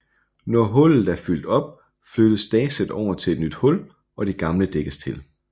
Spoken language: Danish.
Når hullet er fyldt op flyttes dasset over et nyt hul og det gamle dækkes til